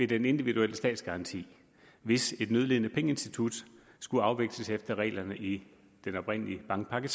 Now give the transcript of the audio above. den individuelle statsgaranti hvis et nødlidende pengeinstitut skulle afvikles efter reglerne i den oprindelige bankpakke